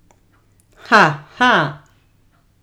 Ha, ha ...